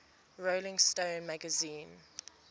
rolling stone magazine